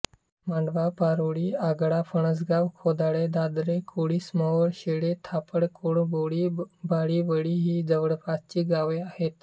मांडवा पारळी ओगाडा फणसगाव खोदाडे धाधरे कोळीमसरोवर शेळे धापड कळंभोळी बाळीवळी ही जवळपासची गावे आहेत